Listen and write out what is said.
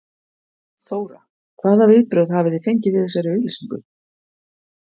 Þóra: Hvaða viðbrögð hafið þið fengið við þessari auglýsingu?